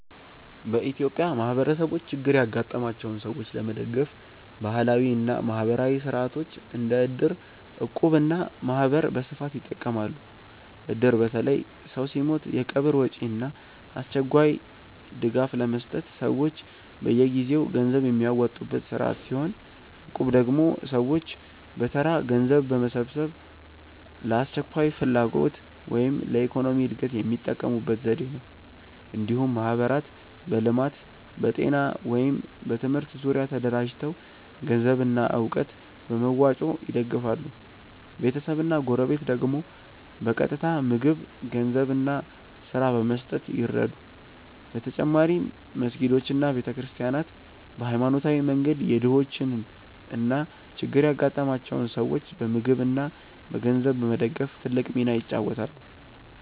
በኢትዮጵያ ማህበረሰቦች ችግር ያጋጠማቸውን ሰዎች ለመደገፍ ባህላዊ እና ማህበራዊ ሥርዓቶች እንደ እድር፣ እቁብ እና ማህበር በስፋት ይጠቀማሉ። እድር በተለይ ሰው ሲሞት የቀብር ወጪ እና አስቸኳይ ድጋፍ ለመስጠት ሰዎች በየጊዜው ገንዘብ የሚያዋጡበት ስርዓት ሲሆን፣ እቁብ ደግሞ ሰዎች በተራ ገንዘብ በመሰብሰብ ለአስቸኳይ ፍላጎት ወይም ለኢኮኖሚ እድገት የሚጠቀሙበት ዘዴ ነው። እንዲሁም ማህበራት በልማት፣ በጤና ወይም በትምህርት ዙሪያ ተደራጅተው ገንዘብና እውቀት በመዋጮ ይደግፋሉ፤ ቤተሰብና ጎረቤት ደግሞ በቀጥታ ምግብ፣ ገንዘብ እና ስራ በመስጠት ይረዱ። በተጨማሪም መስጊዶች እና ቤተ ክርስቲያናት በሃይማኖታዊ መንገድ የድሆችን እና ችግር ያጋጠማቸውን ሰዎች በምግብ እና በገንዘብ በመደገፍ ትልቅ ሚና ይጫወታሉ።